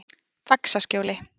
Faxaskjóli